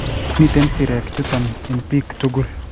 Mitei sirek chutok eng' biik tugul